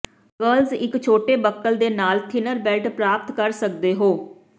girls ਇੱਕ ਛੋਟੇ buckle ਦੇ ਨਾਲ ਥਿਨਰ ਬੈਲਟ ਪ੍ਰਾਪਤ ਕਰ ਸਕਦੇ ਹੋ